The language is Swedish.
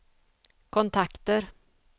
kontakter